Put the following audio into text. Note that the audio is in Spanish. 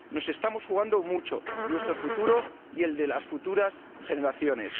Nos estamos jugando mucho nuestro futuro y el de las futuras generaciones.